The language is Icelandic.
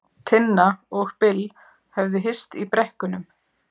Tinna og Bill höfðu hist í brekkunum.